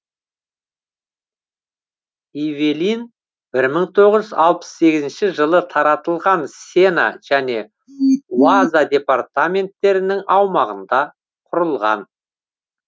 ивелин бір мың тоғыз жүз алпыс сегізінші жылы таратылған сена және уаза департаменттерінің аумағында құрылған